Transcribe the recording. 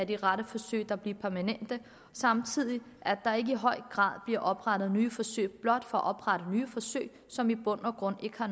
de rette forsøg der bliver permanente og samtidig at der ikke i høj grad bliver oprettet nye forsøg blot for at oprette nye forsøg som i bund og grund ikke har